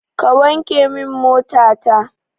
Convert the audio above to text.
Ka wanke min mota ta!